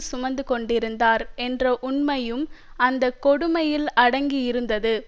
சுமந்து கொண்டிருந்தார் என்ற உண்மையும் அந்த கொடுமையில் அடங்கி இருந்தது